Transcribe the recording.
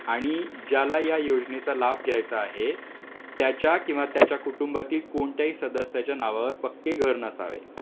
आणि ज्याला या योजनेचा लाभ घ्यायचा आहे त्याच्या किंवा त्याच्या कुटुंबातील कोणत्याही सदस्याचे नाव पक्के घर नसावे